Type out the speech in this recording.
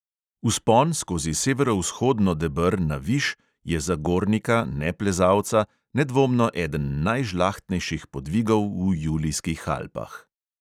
Vzpon skozi severovzhodno deber na viš je za gornika – neplezalca nedvomno eden najžlahtnejših podvigov v julijskih alpah.